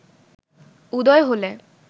উদয় হলে